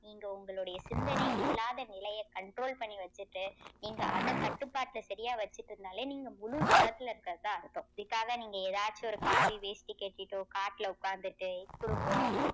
நீங்க உங்களுடைய சிந்தனை இல்லாத நிலையே control பண்ணி வச்சிட்டு நீங்க அதை கட்டுப்பாட்டுல சரியா வச்சுட்டு இருந்தாலே நீங்க முழு தவத்தில இருக்கிறதா அர்த்தம். அதுக்காக நீங்க எதாச்சும் ஒரு காவி வேஷ்டி கட்டிட்டோ காட்டுல உக்காந்துட்டு குடும்பம்